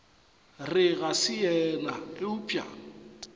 re ga se yena eupša